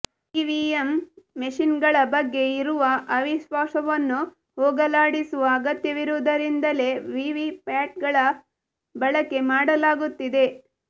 EVM ಮೆಷಿನ್ಗಳ ಬಗ್ಗೆ ಇರುವ ಅವಿಶ್ವಾಸವನ್ನು ಹೋಗಲಾಡಿಸುವ ಅಗತ್ಯವಿರುವುದರಿಂದಲೇ ವಿವಿಪ್ಯಾಟ್ಗಳ ಬಳಕೆ ಮಾಡಲಾಗುತ್ತಿದೆ